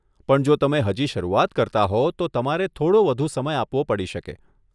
પણ જો તમે હજી શરૂઆત કરતા હો, તો તમારે થોડો વધુ સમય આપવો પડી શકે.